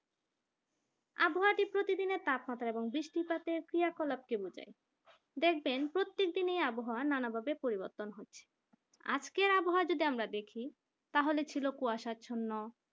প্রতিদিনের তাপমাত্রা এবং বৃষ্টিপাতের ক্রিয়া-কলাপকে বোঝায় দেখবেন প্রত্যেক দিনেই আবহাওয়া নানা বটে পরিবর্তন হয় আজকের আবহাওয়া আমরা যদি দেখি তাহলে ছিল কুয়াশাচ্ছন্ন